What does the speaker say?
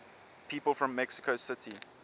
people from mexico city